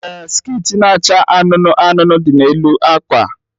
Ee, skit na-acha anụnụ anụnụ dị n'elu akwa.